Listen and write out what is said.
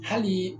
Hali